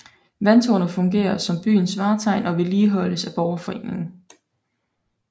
Vandtårnet fungerer som byens vartegn og vedligeholdes af borgerforeningen